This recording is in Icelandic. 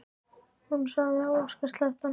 Hún sá þegar Óskar sleppti honum.